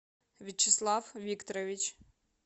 вячеслав викторович